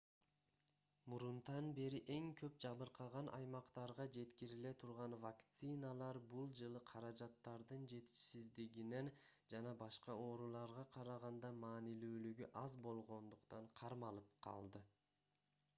мурунтан бери эң көп жабыркаган аймактарга жеткириле турган вакциналар бул жылы каражаттардын жетишсиздигинен жана башка ооруларга караганда маанилүүлүгү аз болгондуктан кармалып калды